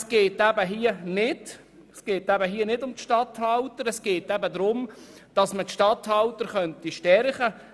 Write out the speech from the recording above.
Es geht hier nicht darum, gegen die Regierungsstatthalter zu wettern, es geht vielmehr darum, diese zu stärken.